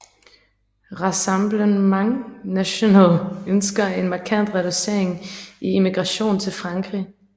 Rassemblement National ønsker en markant reducering i immigration til Frankrig